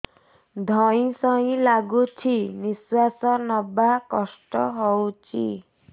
ଧଇଁ ସଇଁ ଲାଗୁଛି ନିଃଶ୍ୱାସ ନବା କଷ୍ଟ ହଉଚି